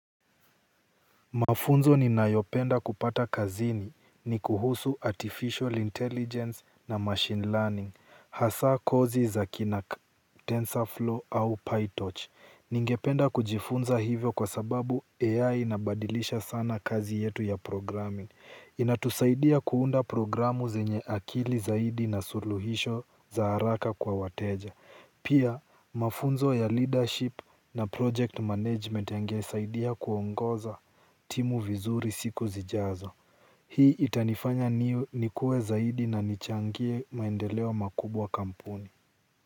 Mafunzo ninayopenda kupata kazini ni kuhusu Artificial Intelligence na Machine Learning, hasa kozi za kina TensorFlow au PyTorch. Ningependa kujifunza hivyo kwa sababu AI inabadilisha sana kazi yetu ya programming. Inatusaidia kuunda programu zenye akili zaidi na suluhisho za haraka kwa wateja. Pia mafunzo ya leadership na project management yangesaidia kuongoza timu vizuri siku zijazo. Hii itanifanya nikue zaidi na nichangie maendeleo makubwa kampuni.